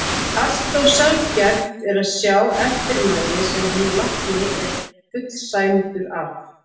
Allt of sjaldgæft er að sjá eftirmæli sem hinn látni er fullsæmdur af.